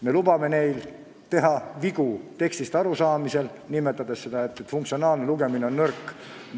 Me lubame teha vigu tekstist arusaamisel, märkides vaid, et funktsionaalne lugemine on nõrk.